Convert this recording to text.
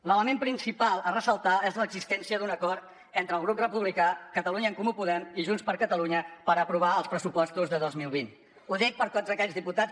l’element principal a ressaltar és l’existència d’un acord entre el grup republicà catalunya en comú podem i junts per catalunya per aprovar els pressupostos de dos mil vint ho dic per tots aquells diputats